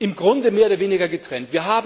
im Grunde mehr oder weniger getrennt.